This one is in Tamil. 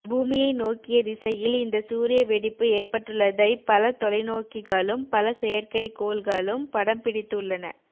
பூமியை நோக்கிய திசையில் இந்த சூரிய வெடிப்பு ஏற்பட்டுள்ளதை பல தொலைநோக்கிகளும் பல செயற்கைக்கோள்களும் படம் பிடித்து உள்ளன